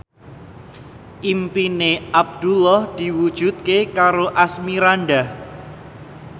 impine Abdullah diwujudke karo Asmirandah